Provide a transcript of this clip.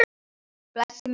Blessuð sé minning mömmu.